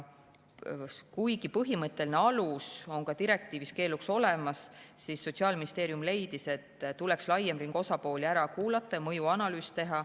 Kuigi põhimõtteline alus on ka direktiivis keeluks olemas, leidis Sotsiaalministeerium, et tuleks laiem ring osapooli ära kuulata ja mõjuanalüüs teha.